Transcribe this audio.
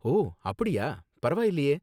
ஓ, அப்படியா பரவாயில்லயே!